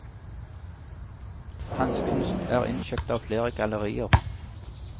Hans kunst er innkjøpt av flere gallerier.